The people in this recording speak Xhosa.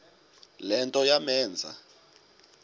le nto yamenza